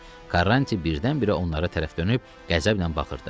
Karranti birdən-birə onlara tərəf dönüb qəzəblə baxırdı.